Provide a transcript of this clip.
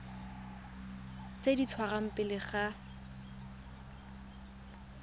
tse di dirwang pele ga